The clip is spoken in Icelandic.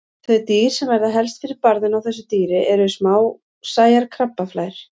Þau dýr sem verða helst fyrir barðinu á þessu dýri eru smásæjar krabbaflær.